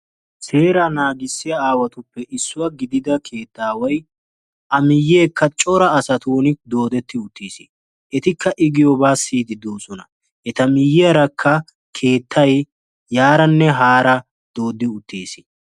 seeraa naagissiya aawatuppe issuwa gididda keettaaway a miyeekka cora asatun doodetti uttiis. etikka i giyoobaa siyidi doosona.